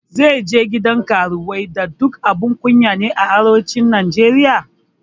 Zai je gidan karuwai duk da abun kunya ne a arewacin Najeriya